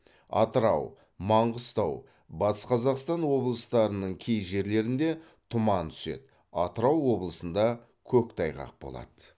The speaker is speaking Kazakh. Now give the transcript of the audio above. атырау маңғыстау батыс қазақстан облыстарының кей жерлерінде тұман түседі атырау облысында көктайғақ болады